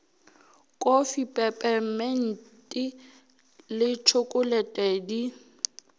kofi pepeminti le tšhokolete di